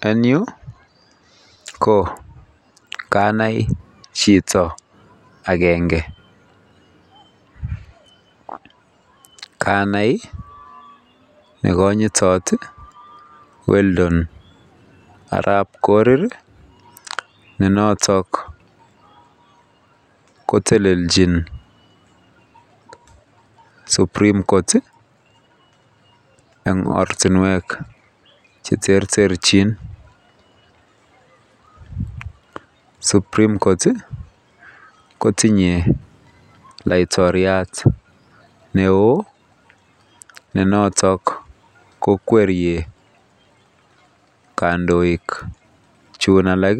En yu ko Kanai Chito agenge Kanai nekanyitot Weldon Arab Korir ne noton kotelenchin supreme court en oratinwek cheterterchin supreme court kotinye laiktoriat neoneon nenotok kandoik Chun alak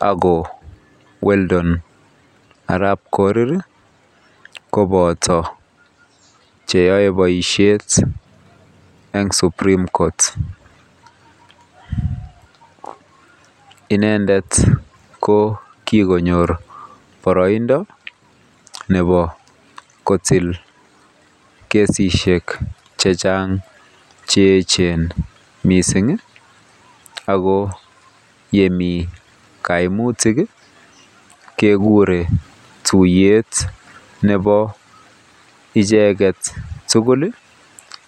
ako Weldon Arab Korir koboto cheyae baishet en supreme court inendet ko kikonyir barainod kitik cheyechen mising akoyemi kaimutikkekurenbyi Nebo icheket tugun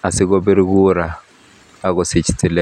asikobit kuraa